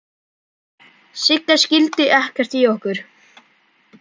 Sigga skildi ekkert í okkur.